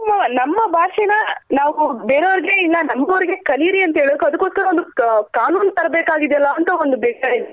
ಮತ್ತೆ ಇತ್ತೀಚಿಗೆ ಮತ್ತೆ ಇತ್ತೀಚಿಗೆ ಹೆಂಗ್ ಆಗಿದೆ ಅಂದ್ರೆ ನಮ್ಮ ಭಾಷೆ ನ ನಾವು ಬೇರೆ ಅವರ್ಗೆ ಇಲ್ಲ ನಂಬ್ ದೊರ್ಗೆ ಕಲಿರಿ ಅಂತ ಹೇಳಕೆ ಅದ್ಕೊಸ್ಕರ ಒಂದ್ ಕಾನೂನ್ ತರ್ ಬೇಕಾಗಿದೆ ಅಲ್ಲ ಅಂತ ಒಂದ್ ಬೆಸರ ಇದೆ .